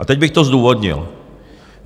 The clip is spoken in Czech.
A teď bych to zdůvodnil.